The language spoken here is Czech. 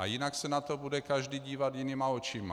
A jinak se na to bude každý dívat jinýma očima.